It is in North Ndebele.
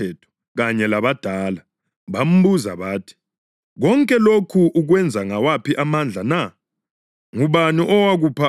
Bambuza bathi, “Konke lokhu ukwenza ngawaphi amandla na? Ngubani owakupha amandla okwenza lokhu?”